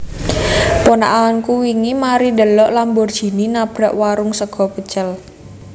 Ponakanku wingi mari ndhelok Lamborghini nabrak warung sego pecel